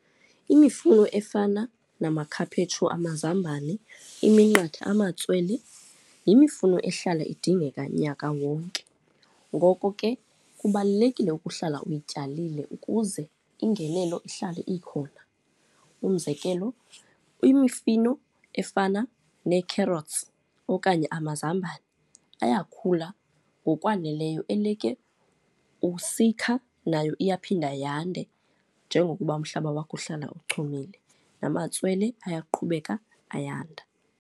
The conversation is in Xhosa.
Imifuno efana namakhaphetshu, amazambane, iminqathe, amatswele, yimifuno ehlala idingeka nyaka wonke, ngoko ke kubalulekile ukuhlala uyityalile ukuze ingenelo ihlale ikhona. Umzekelo imifino efana nee-carrots okanye amazambane, ayakhula ngokwaneleyo, eleke usikha nayo iyaphinda yande. Njengokuba umhlaba wakho uhlala uchumile, namatswele ayaqhubeka ayanda.